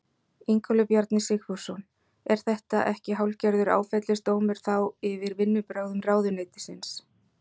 Ingólfur Bjarni Sigfússon: Er þetta ekki hálfgerður áfellisdómur þá yfir vinnubrögðum ráðuneytisins?